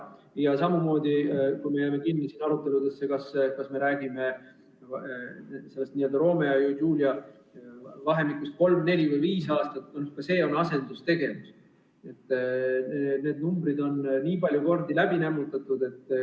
Ja samamoodi on siis, kui me jääme kinni aruteludesse, kas see n‑ö Romeo ja Julia vahemik peaks olema kolm, neli või viis aastat – ka see on asendustegevus, need numbrid on nii palju kordi läbi nämmutatud.